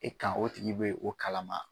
E kan o tigi bɛ o kalama.